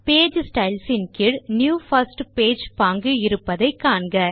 page Stylesன் கீழ் new first page பாங்கு இருப்பதை காண்க